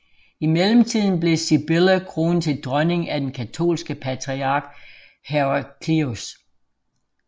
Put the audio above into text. I mellemtiden blev Sibylla kronet til dronning af den katolske patriark Heraclius